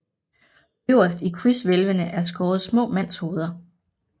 Øverst i krydshvælvene er skåret små mandshoveder